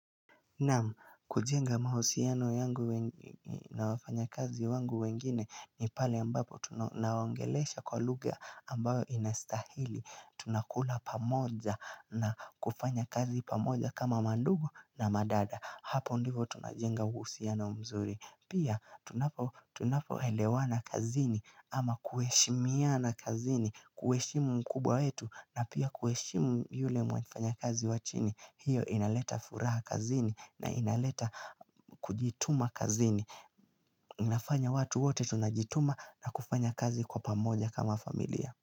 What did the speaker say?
Naam kujenga mahusiano yangu na wafanya kazi wangu wengine ni pale ambapo tunawangelesha kwa lugha ambayo inastahili Tunakula pamoja na kufanya kazi pamoja kama mandugu na madada Hapo ndivo tunajenga uhusiano mzuri Pia tunapo elewana kazini ama kuheshimiana kazini kuheshimu mkubwa wetu na pia kuheshimu yule mwafanya kazi wachini hiyo inaleta furaha kazini na inaleta kujituma kazini inafanya watu wote tunajituma na kufanya kazi kwa pamoja kama familia.